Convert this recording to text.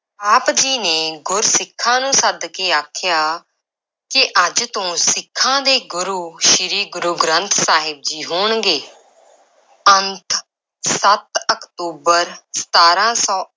ਆਪ ਜੀ ਨੇ ਗੁਰ-ਸਿੱਖਾਂ ਨੂੰ ਸੱਦ ਕੇ ਆਖਿਆ ਕਿ ਅੱਜ ਤੋਂ ਸਿੱਖਾਂ ਦੇ ਗੁਰੂ ਸ਼੍ਰੀ ਗੁਰੂ ਗ੍ਰੰਥ ਸਾਹਿਬ ਜੀ ਹੋਣਗੇ, ਅੰਤ ਸੱਤ ਅਕਤੂਬਰ ਸਤਾਰਾਂ ਸੌ